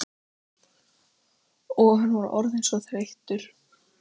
Og hann var orðinn svo þreyttur.